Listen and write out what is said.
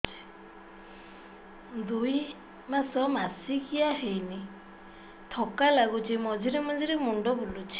ଦୁଇ ମାସ ମାସିକିଆ ହେଇନି ଥକା ଲାଗୁଚି ମଝିରେ ମଝିରେ ମୁଣ୍ଡ ବୁଲୁଛି